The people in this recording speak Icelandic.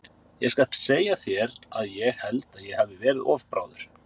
Ég skal segja þér að ég held að ég hafi verið of bráður.